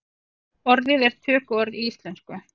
Orðið er tökuorð í íslensku.